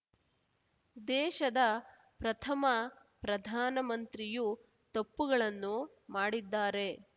ದೇಶದ ಪ್ರಥಮ ಪ್ರಧಾನ ಮಂತ್ರಿಯು ತಪ್ಪುಗಳನ್ನು ಮಾಡಿದ್ದಾರೆ